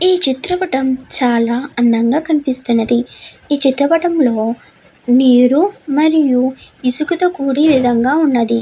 ఈ చిత్రపటం చాలా అందంగా కనిపిస్తున్నది ఈ చిత్రపటం లో నీరు మరియు ఇసుక తో కూడిన విధంగా ఉన్నది.